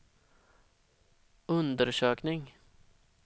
undersökning